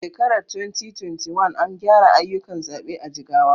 A shekarar 2021, an gyara ayyukan zaɓe a Jigawa.